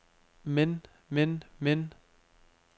men men men